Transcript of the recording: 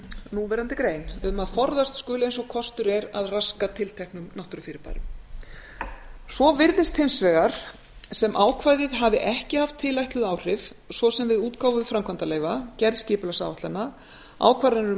núverandi grein um að forðast skuli eins og kostur er að raska tilteknum náttúrufyrirbærum svo virðist hins vegar sem ákvæðið hafi ekki haft tilætluð áhrif svo sem við útgáfu framkvæmdaleyfa ferð skipulagsáætlana ákvarðanir um